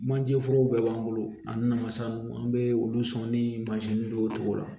Manjeforo bɛɛ b'an bolo ani masa minnu an bɛ olu sɔn ni mansin dɔw la